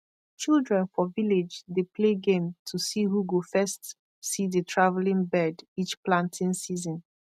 children for village dey play game to see who go first see the travelling bird each planting season